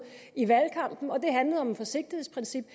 i valgkampen og det handlede om et forsigtighedsprincip